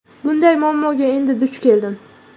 Bunday muammoga endi duch keldim.